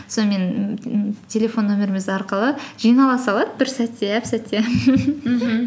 сонымен м м телефон номеріміз арқылы жинала салады бір сәтте әп сәтте мхм